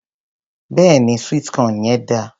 Béèni sweet corn yẹn dáa.